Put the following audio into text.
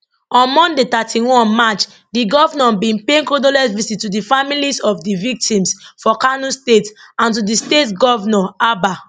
on monday 31 march di govnor bin pay condolence visits to di families of di victims for kano state and to di state govnor abba